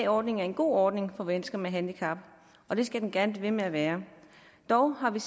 ordningen er en god ordning for mennesker med handicap og det skal den gerne blive ved med at være dog har vi